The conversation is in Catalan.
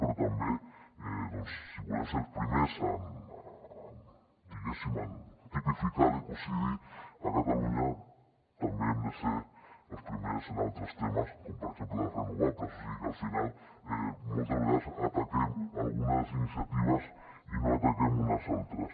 però també doncs si volem ser els primers diguéssim en tipificar l’ecocidi a catalunya també hem de ser els primers en altres temes com per exemple les renovables o sigui que al final moltes vegades ataquem algunes iniciatives i no ataquem unes altres